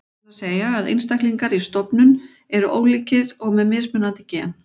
Það er að segja að einstaklingar í stofnum eru ólíkir og með mismunandi gen.